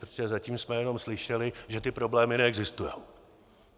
Protože zatím jsme jenom slyšeli, že ty problémy neexistují.